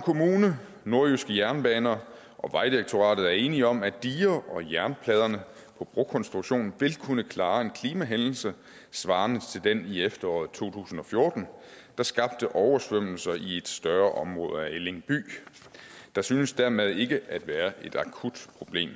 kommune nordjyske jernbaner og vejdirektoratet er enige om at digerne og jernpladerne på brokonstruktionen vil kunne klare en klimahændelse svarende til den i efteråret to tusind og fjorten der skabte oversvømmelser i et større område af elling by der synes dermed ikke at være et akut problem